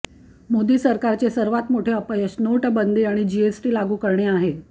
मोदी सरकारचे सर्वात मोठे अपयश नोटाबंदी आणि जीएसटी लागू करणे आहे